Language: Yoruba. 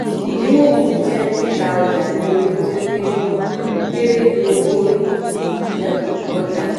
ìdínwó kù jẹ́ títa ọjà ní owó tí ó kéré kéré ju owó orí um ọjà lọ.